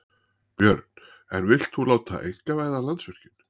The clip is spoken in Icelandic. Björn: En vilt þú láta einkavæða Landsvirkjun?